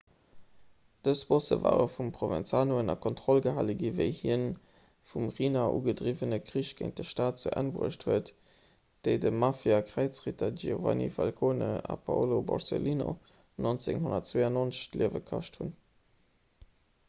dës bosse ware vum provenzano ënner kontroll gehale ginn wéi hien de vum riina ugedriwwene krich géint de staat zu enn bruecht huet déi de mafiakräizritter giovanni falcone a paolo borsellino 1992 d'liewe kascht hunn